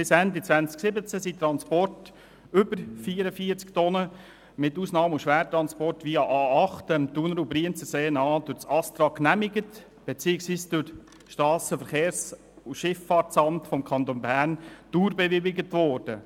– Bis Ende 2017 wurden Transporte über 44 Tonnen für Ausnahme- und Schwertransporte via A8 entlang dem Thuner- und Brienzersee durch das ASTRA genehmigt beziehungsweise vom Strassenverkehrs- und Schifffahrtsamt des Kantons Bern (SVSA) «dauerbewilligt».